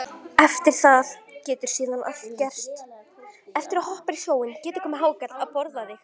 Eftir það getur síðan allt gerst.